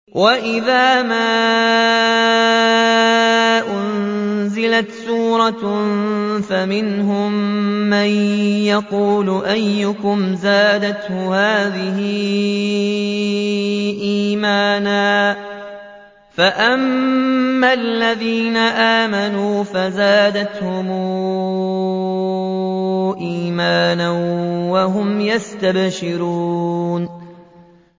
وَإِذَا مَا أُنزِلَتْ سُورَةٌ فَمِنْهُم مَّن يَقُولُ أَيُّكُمْ زَادَتْهُ هَٰذِهِ إِيمَانًا ۚ فَأَمَّا الَّذِينَ آمَنُوا فَزَادَتْهُمْ إِيمَانًا وَهُمْ يَسْتَبْشِرُونَ